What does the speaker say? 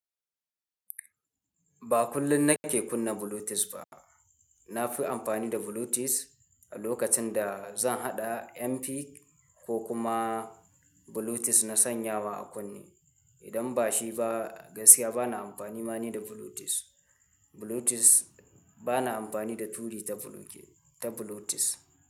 Ba kullum na ke kunna Bluetooth ba. Na fi amfani da Bluetooth a lokacin da zan haɗa MP ko kuma Bluetooth na sanyawa a kunne. Idan ba shi ba, gaskiya ba na amfani ma ni da Bluetooth. Bluetooth ba na amfani da turi ta Bluetooth.